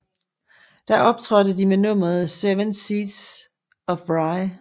Der optrådte de med nummeret Seven Seas of Rhye